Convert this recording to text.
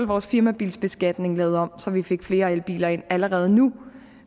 vores firmabilsbeskatning lavet om så vi fik flere elbiler ind allerede nu